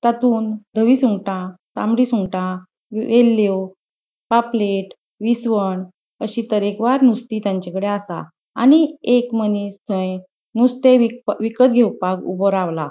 तांतून दवि सुंगटा तामड़ी सुंगटा वेल्ल्यो पापलेट विसवण अशी तरेकवार नुस्ती तांचे कडे असा आणि एक मनीस थय नुस्ते वीक विकत घेवपाक ऊबो रावला.